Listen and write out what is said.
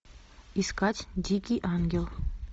искать дикий ангел